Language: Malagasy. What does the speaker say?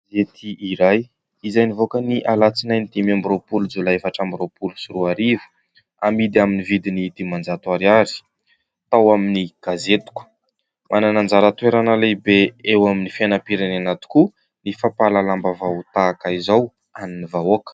Gazety iray izay nivoaka ny alatsinainy dimy amby roapolo jolay efatra amby roapolo sy roa ariva, amidy amin'ny vidiny dimanjato ariary tao amin'ny gazetiko. Manana anjara toerana lehibe eo amin'ny fiainam-pirenena tokoa ny fampahalalam-baovao tahaka izao an'ny vahoaka.